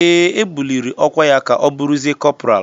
Ee, e buliri ọkwa ya ka ọ bụrụzie kọpral.